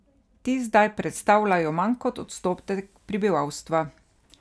Ti zdaj predstavljajo manj kot odstotek prebivalstva.